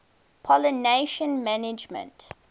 pollination management